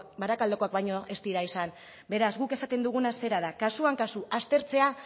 barakaldokoak baino ez dira izan beraz guk esaten duguna zera da kasuan kasu aztertzea